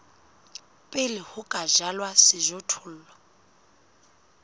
pele ho ka jalwa sejothollo